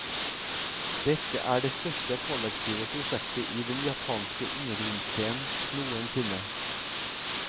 Dette er det største kollektive prosjektet i den japanske undergrunnsscenen noen sinne.